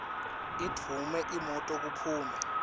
idvume imoto kuphume